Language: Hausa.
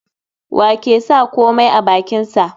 Wa ke sa komai a bakinsa?